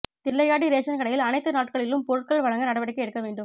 Thillaiyadi ration கடையில் அனைத்து நாட்களிலும் பொருட்கள் வழங்க நடவடிக்கை எடுக்க வேண்டும்